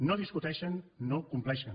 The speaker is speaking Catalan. no discuteixen no compleixen